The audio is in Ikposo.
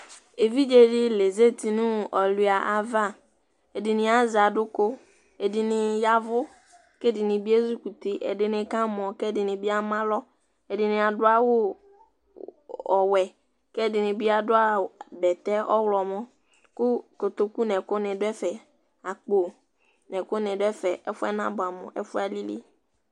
Évodjé dini lé zéti nu ɔluia ava Ɛdini azɛ aduku, ɛdini yavu ké ɛdini bi ezukuti, ɛdini ka mɔ, kɛ ɛdini amalɔ, ɛdini adu awu ɔwɛ kɛ ɛdini bi adu bɛtɛ ọwlɔmɔ, ku kotoku nɛ ɛkuni du ɛfɛ, akpo nɛ ɛkuni dɛƒɛ ku ɛfuɛ alili